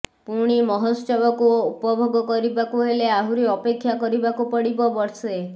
ପୁଣି ମହୋତ୍ସୋବକୁ ଉପଭୋଗ କରିବାକୁ ହେଲେ ଆହୁରି ଅପେକ୍ଷା କରିବାକୁ ପଡିବ ବର୍ଷେ